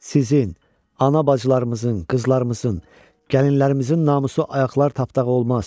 Sizin, ana-bacılarımızın, qızlarımızın, gəlinlərimizin namusu ayaqlar tapdağı olmaz.